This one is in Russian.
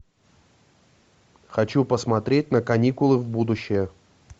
хочу посмотреть на каникулы в будущее